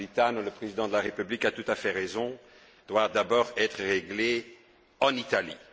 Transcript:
Napolitano, le président de la République, a tout à fait raison doit d'abord être réglé en Italie.